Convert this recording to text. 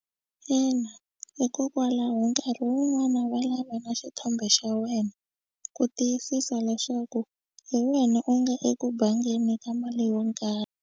Ina, hikokwalaho nkarhi wun'wani va lava na xithombe xa wena ku tiyisisa leswaku hi wena u nga eku bangeni ka mali yo karhi.